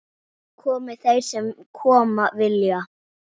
Komi þeir sem koma vilja-?